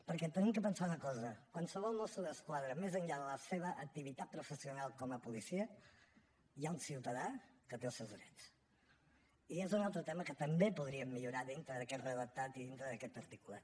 perquè hem de pensar una cosa en qualsevol mosso d’esquadra més enllà de la seva activitat professional com a policia hi ha un ciutadà que té els seus drets i és un altre tema que també podríem millorar dintre d’aquest redactat i dintre d’aquest article